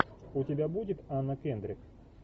у тебя будет анна кендрик